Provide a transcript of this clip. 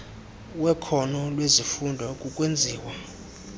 wekhono lezifundo kukwenziwa